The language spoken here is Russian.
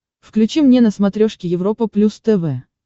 включи мне на смотрешке европа плюс тв